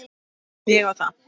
Ég á það.